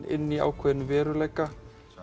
inn í ákveðinn veruleika